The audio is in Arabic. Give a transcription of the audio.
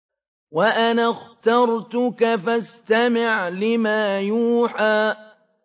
وَأَنَا اخْتَرْتُكَ فَاسْتَمِعْ لِمَا يُوحَىٰ